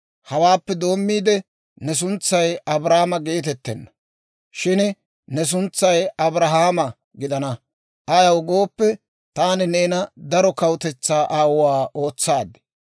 Hawaappe doommiide ne suntsay Abraama geetettenna; shin ne suntsay Abrahaama gidana. Ayaw gooppe, taani neena daro kawutetsaa aawuwaa ootsaad.